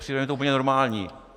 Přijde mi to úplně normální.